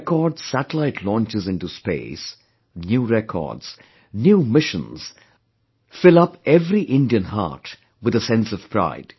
Record satellite launches into space, new records, new missions fills up every Indian heart with a sense of pride